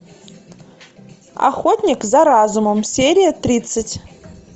охотник за разумом серия тридцать